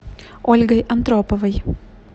ольгой антроповой